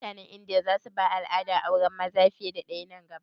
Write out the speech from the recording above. Mutanen Indiya za su bar al'adar auren maza fiye da ɗaya nan gaba?